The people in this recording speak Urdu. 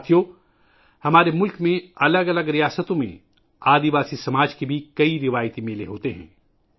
ساتھیو ، ہمارے ملک میں مختلف ریاستوں میں قبائلی سماج کے بھی کئی روایتی میلے ہوتے ہیں